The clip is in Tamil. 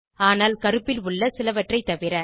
ஆனால் கருப்பில் உள்ள சிலவற்றை தவிர